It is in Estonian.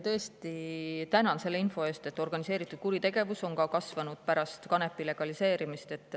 Tõesti, tänan selle info eest, et organiseeritud kuritegevus on ka kasvanud pärast kanepi legaliseerimist.